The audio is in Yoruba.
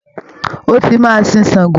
Ó tí màá sìn ṣàngó.